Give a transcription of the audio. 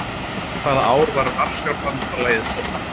Hvaða ár var Varsjárbandalagið stofnað?